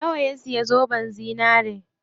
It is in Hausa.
Nawa ya siya zoben zinari?